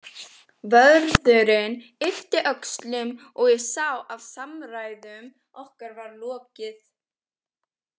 Vörðurinn yppti öxlum og ég sá að samræðum okkar var lokið.